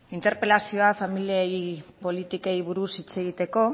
interpelazioa familia politikei buruz hitz egiteko